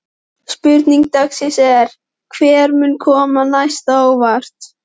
Spurning dagsins er: Hver mun koma mest á óvart?